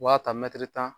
U b'a ta tan